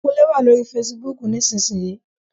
Kúnlé wà lórí fesibúùkù nísinsìnyí